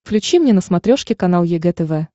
включи мне на смотрешке канал егэ тв